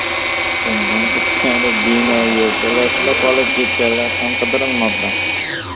Bundan tashqari, bino yerto‘lasida qolib ketganlar ham qidirilmoqda.